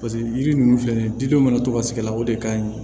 Paseke yiri nunnu filɛ nin ye diden mana to ka sig'a la o de ka ɲi